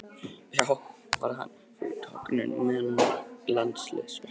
Varð hann þá fyrir tognun á meðan hann var í landsliðsverkefni.